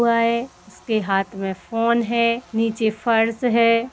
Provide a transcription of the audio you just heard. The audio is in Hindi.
हुआ ए । इसके हाथ में फोन है। नीचे फर्श है।